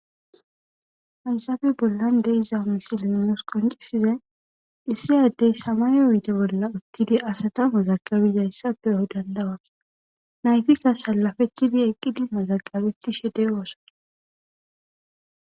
hayzaabe bollan de iza misili nus qoncisiza issi addey samayo oyte bolla uttidi asata mazaqabiyayssa peyoy dandawa naytikka salafetidi eqqidi mazaqabetishe deyooso